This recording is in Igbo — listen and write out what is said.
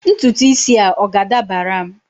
ntutu isi a ọ ga-adabara m?